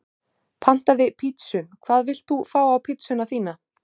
Pantaði pizzu Hvað vilt þú fá á pizzuna þína?